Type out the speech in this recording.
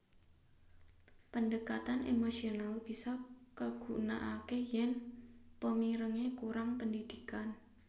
Pendekatan emosional bisa kagunakake yen pemirenge kurang pendidikan